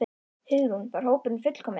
Hugrún: Var hópurinn fullkominn?